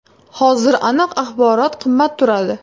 Hozir aniq axborot qimmat turadi.